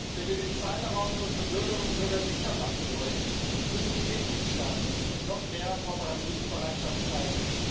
Wenn wir den Cyberraum für unsere Bürgerinnen und Bürger sicher machen wollen, müssen die Mitgliedstaaten noch mehr Kooperationsbereitschaft zeigen.